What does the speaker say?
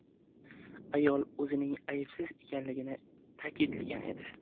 Ayol o‘zining aybsiz ekanligini ta’kidlagan edi.